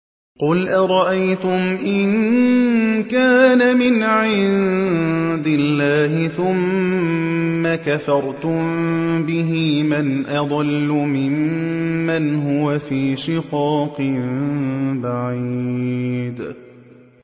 قُلْ أَرَأَيْتُمْ إِن كَانَ مِنْ عِندِ اللَّهِ ثُمَّ كَفَرْتُم بِهِ مَنْ أَضَلُّ مِمَّنْ هُوَ فِي شِقَاقٍ بَعِيدٍ